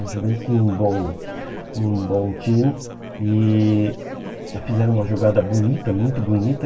O Juventus tinha um bom um bom time e fizeram uma jogada bonita, muito bonita.